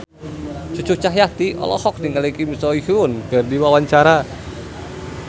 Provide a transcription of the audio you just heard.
Cucu Cahyati olohok ningali Kim So Hyun keur diwawancara